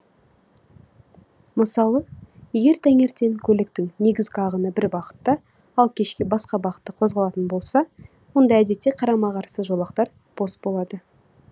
мысалы егер таңертең көліктің негізгі ағыны бір бағытта ал кешке басқа бағытта қозғалатын болса онда әдетте қарама қарсы жолақтар бос болады